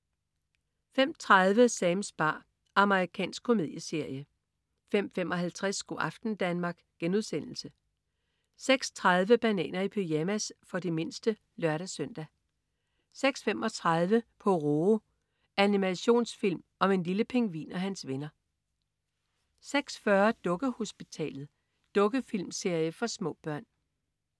05.30 Sams bar. Amerikansk komedieserie 05.55 Go' aften Danmark* 06.30 Bananer i pyjamas. For de mindste (lør-søn) 06.35 Pororo. Animationsfilm om en lille pingvin og hans venner 06.40 Dukkehospitalet. Dukkefilmserie for små børn